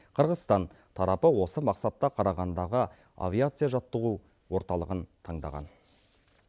қырғызстан тарапы осы мақсатта қарағандыдағы авиация жаттығу орталығын таңдаған